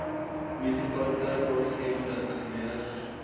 munisipaliteit raadgewende ingenieurs